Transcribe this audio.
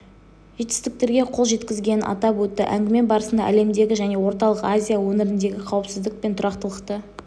жетістіктерге қол жеткізгенін атап өтті әңгіме барысында әлемдегі және орталық азия өңіріндегі қауіпсіздік пен тұрақтылықты